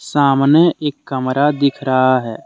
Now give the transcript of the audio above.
सामने एक कमरा दिख रहा है।